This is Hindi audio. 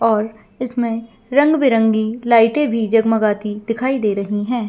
और इसमें रंग - बिरंगी लाइटें भी जगमगाती दिखाई दे रही है।